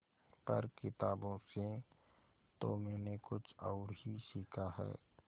पर किताबों से तो मैंने कुछ और ही सीखा है